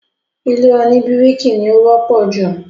ilé òní bíríkì ni ó wọ́pọ̀ jù.